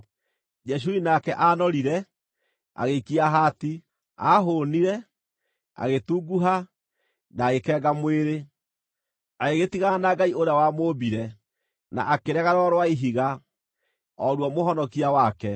Jeshuruni nake aanorire, agĩikia haati; aahũũnire, agĩtunguha, na agĩkenga mwĩrĩ. Agĩgĩtigana na Ngai ũrĩa wamũmbire, na akĩrega Rwaro rwa Ihiga, o ruo Mũhonokia wake.